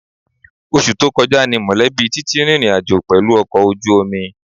Oṣù tó kọjá ni mọ̀lẹ́bí Titi rìnrìn àjò pẹ̀lú ọkọ̀ ojú omi